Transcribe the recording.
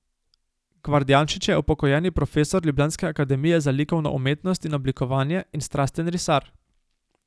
Gvardjančič je upokojeni profesor ljubljanske Akademije za likovno umetnost in oblikovanje in strasten risar.